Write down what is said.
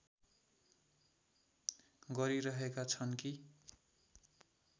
गरिरहेका छन् कि